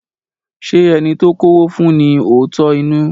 Ṣé ẹni to kọ́wó fún ní òótọ́ inú?